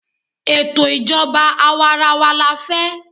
Ètò ìjọba àwarawa la fẹ́.